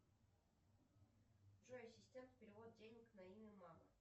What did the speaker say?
джой ассистент перевод денег на имя мама